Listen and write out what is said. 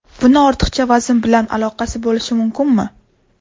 Buning ortiqcha vazn bilan aloqasi bo‘lishi mumkinmi?